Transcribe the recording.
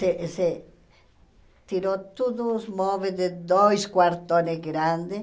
Se se tirou tudo os móveis de dois quartos grandes.